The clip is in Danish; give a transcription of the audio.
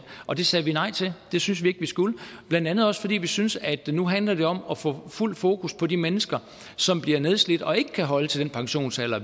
og det sagde vi nej til det synes vi ikke skulle blandt andet også fordi vi syntes at det nu handler om at få fuldt fokus på de mennesker som bliver nedslidt og ikke kan holde til den pensionsalder